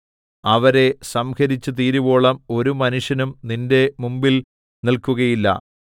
അവരെ സംഹരിച്ചുതീരുവോളം ഒരു മനുഷ്യനും നിന്റെ മുമ്പിൽ നില്‍ക്കുകയില്ല